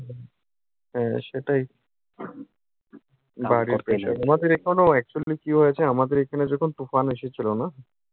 হ্যাঁ, সেটাই। আমাদের এখানেও actually কী হয়েছে, আমাদের এখানেও যখন তুফান এসেছিলো না,